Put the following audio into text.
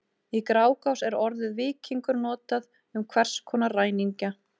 Í Grágás er orðið víkingur notað um hvers konar ræningja.